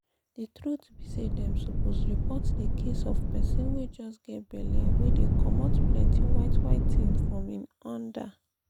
the truth be saydem suppose report the case of persin wey just get belle wey dey comot plenty white white tin from him under